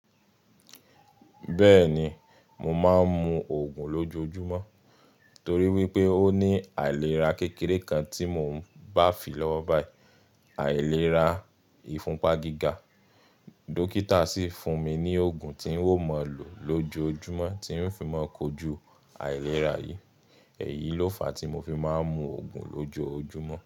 Bẹ́ẹ̀ni, mo máa ń mu Ògùn lójoojúmọ́ torí wípé ó ní àìlera kékeré kan tí mò ń bá fi lọ́wọ́ bayi, àìlera ìfúnpá gíga. Dókítà sì fún mi ní Ògùn tí ń mo lò lójoojúmọ́ tí ń fi máa ń kojú àìlera yìí. Èyí ló fàá tí mo fi máa ń mu Ògùn lójoojúmọ́